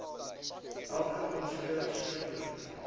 elke aansoeker skriftelik